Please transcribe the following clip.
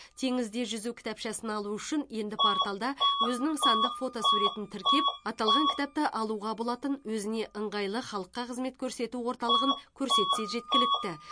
теңізде жүзу кітапшасын алу үшін енді порталда өзінің сандық фотосуретін тіркеп аталған кітапты алуға болатын өзіне ыңғайлы халыққа қызмет көрсету орталығын көрсетсе жеткілікті